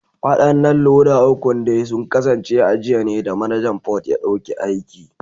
Wadannan loda ukun dai sun kasance a jiya ne da Manajan Port ya dauki aiki